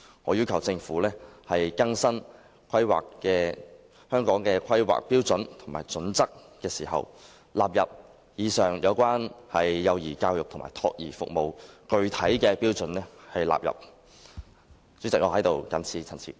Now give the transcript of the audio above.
我要求政府在更新《規劃標準》時，將以上有關幼兒教育及託兒服務的具體標準納入《規劃標準》。